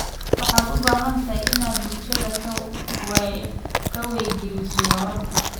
Waxaad u baahan tahay inaad bulshada ka wacyigeliso waraabka.